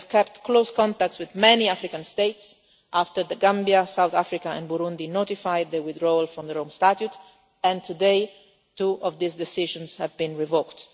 We kept close contacts with many African states after the Gambia, South Africa and Burundi notified their withdrawal from the Rome Statute and today two of these decisions have been revoked.